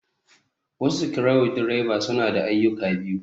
Wasu screw drivers, suna da ayyuka biyu.